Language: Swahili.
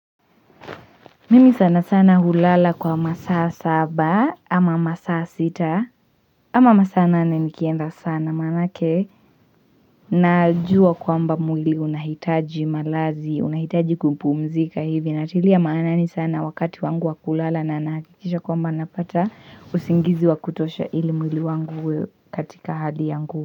Mimi sana sana hulala kwa masaa saba ama masaa sita ama masaa nane nikienda sana maanake najua kwamba mwili unahitaji malazi. Unahitaji kumpumzika hivi natilia maanani sana wakati wangu wa kulala na nahakikisha kwamba napata usingizi wa kutosha ili mwili wangu uwe katika hadi yangu.